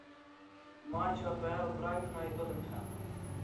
матч апл брайтона и тоттенхэма